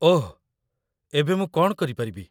ଓଃ! ଏବେ ମୁଁ କ'ଣ କରିପାରିବି?